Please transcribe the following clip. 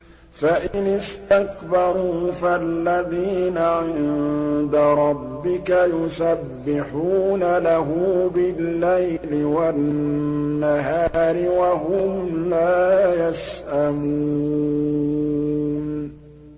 فَإِنِ اسْتَكْبَرُوا فَالَّذِينَ عِندَ رَبِّكَ يُسَبِّحُونَ لَهُ بِاللَّيْلِ وَالنَّهَارِ وَهُمْ لَا يَسْأَمُونَ ۩